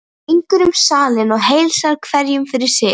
Hún gengur um salinn og heilsar hverjum fyrir sig.